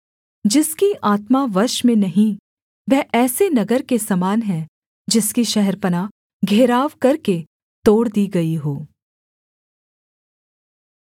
जिसकी आत्मा वश में नहीं वह ऐसे नगर के समान है जिसकी शहरपनाह घेराव करके तोड़ दी गई हो